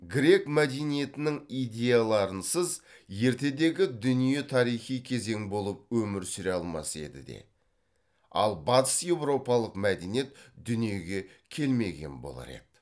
грек мәдениетінің идеяларынсыз ертедегі дүние тарихи кезең болып өмір сүре алмас еді де ал батые еуропалық мәдениет дүниеге келмеген болар еді